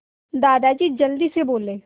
दादाजी जल्दी से बोले